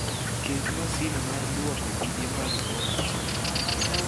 Ket masin mar lwoko mige mag ot tiyo